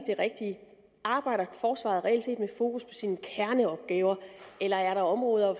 rigtige arbejder forsvaret reelt set med fokus på sine kerneopgaver eller er der områder